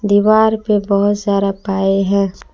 दीवार पे बहुत सारा पाए हैं।